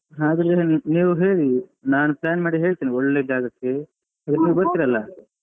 ಆದ್ರೆ ನೀವು ಹೇಳಿ ನಾನು plan ಮಾಡಿ ಹೇಳ್ತೇನೆ ಒಳ್ಳೆ ಜಾಗಕ್ಕೆ ನೀವು ಬರ್ತೀರಲ್ಲ? .